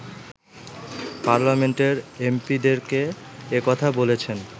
পার্লামেন্টের এমপি’দেরকে একথা বলেছেন